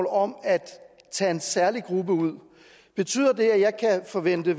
om at tage en særlig gruppe ud betyder det at jeg kan forvente at